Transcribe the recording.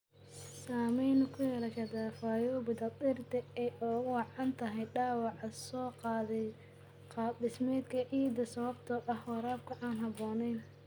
Saamayn ku yeelashada fayoobida dhirta oo ay ugu wacan tahay dhaawaca soo gaadhay qaab dhismeedka ciidda sababtoo ah waraabka aan habboonayn.